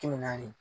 Kɛmɛ naani